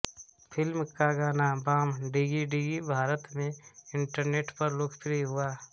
film का गाना बॉम डिग्गी डिग्गी भारत में इंटरनेट पर लोकप्रिय हुआ